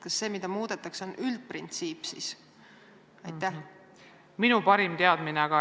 Kas see, mida muudetakse, on siis üldprintsiip?